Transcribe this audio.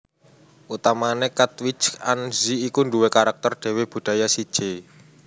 Utamané Katwijk aan Zee iku nduwé karakter dhéwé budaya séjé